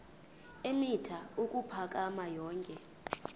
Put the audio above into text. eemitha ukuphakama yonke